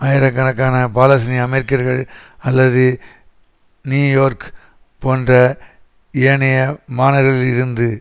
ஆயிரக்கணக்கான பாலஸ்தீனிய அமெரிக்கர்கள் அல்லது நியூயோர்க் போன்ற ஏனைய மாநகர்களில் இருந்து